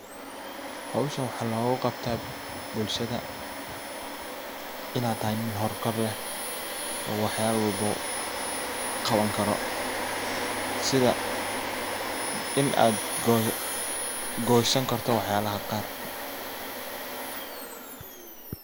Howshan waxa loga qabtaa bulshada inaa tahay nin howl kar leh oo waxyalo walbow qaban karo. Sidha in aad gosan karto wax yalaha qaar.